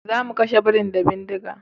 Zamu kashe birin da bindiga